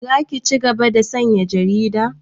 Za ki cigaba da sayan jarida?